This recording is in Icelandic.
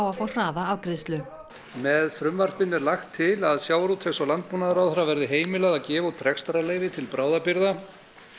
að fá hraða afgreiðslu með frumvarpinu er lagt til að sjávarútvegs og landbúnaðarráðherra verði heimilað að gefa út rekstrarleyfi til bráðabirgða